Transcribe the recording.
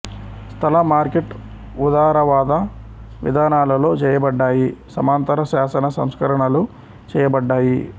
స్థల మార్కెట్ఉదారవాద విధానాలలో చేయబడ్డాయి సమాంతర శాసన సంస్కరణలు చేయబడ్డాయి